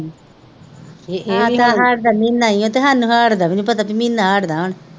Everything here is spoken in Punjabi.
ਆਹ ਤਾਂ ਹਾੜ੍ਹ ਦਾ ਮਹੀਨਾ ਹੀ ਆ ਅਤੇ ਸਾਨੂੰ ਹਾੜ ਦਾ ਵੀ ਨਹੀਂ ਪਤਾ ਬਈ ਮਹੀਨਾ ਹਾੜ ਦਾ ਵਾ